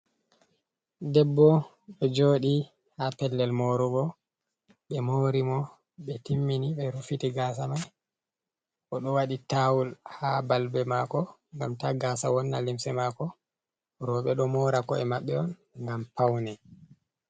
Debbo ɗo joɗi ha pellel morugo. Ɓe mori mo ɓe timmini ɓe rufiti gasa mai. Oɗo waɗi tawul ha balbe mako ngam ta gasa wonna limse mako. Roɓe ɗo mora ko'e maɓɓe on ngam paune.